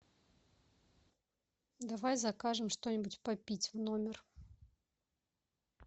давай закажем что нибудь попить в номер